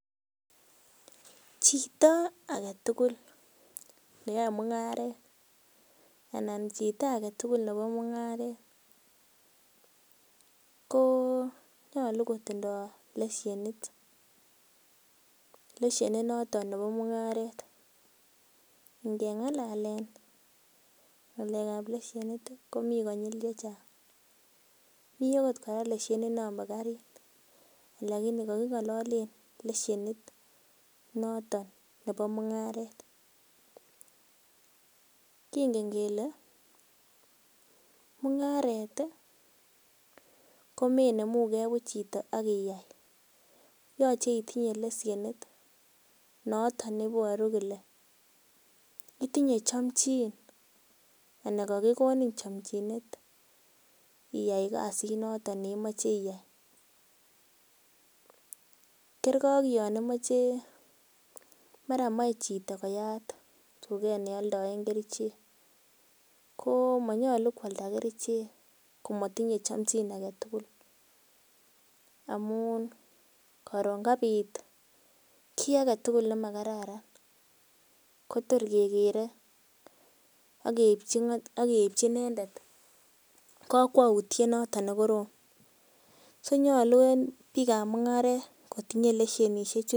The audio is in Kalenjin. Chito agetugul neyoe mung'aret anan chito agetugul nebo mung'aret konyalu kotindoi fishnet leshenit noton nebo mungaret ngengalalen ng'alek kab leshenit komii konyil chechang' miten kora leshenit ab karit lakini kagingololen leshenit noton nebo mung'aret kingen kele mung'aret komenemugee buch chito agiyai yooche itinye leshenit noton neboru kole itinye chomchin anan kogigonin chomchinet iyai kasit noton imoche iyai kerkei ak yonimoche mara mochechito koyat tuget ne oldoen kerichek komanyalu koalda kerichek komatinye chamjin agetugul amun karon kabiit kiagetugul nemakararan kotorkegere ageibchi inendet kokwoutiet negorom sokonyalu en biik ab mung'aret kotinye leshenishek